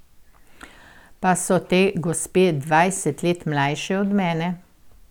Pa so te gospe dvajset let mlajše od mene.